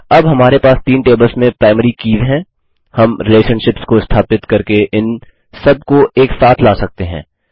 अब हमारे पास तीन टेबल्स में प्राईमरीज़ कीज़ हैं हम रिलेशनशिप्स को स्थापित करके इन सबको एक साथ ला सकते हैं